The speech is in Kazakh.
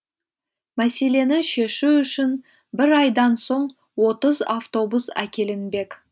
мәселені шешу үшін бір айдан соң отыз автобус әкелінбек